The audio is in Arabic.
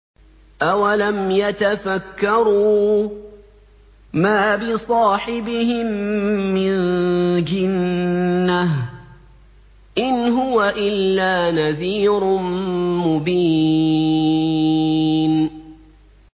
أَوَلَمْ يَتَفَكَّرُوا ۗ مَا بِصَاحِبِهِم مِّن جِنَّةٍ ۚ إِنْ هُوَ إِلَّا نَذِيرٌ مُّبِينٌ